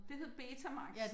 Det hed betamax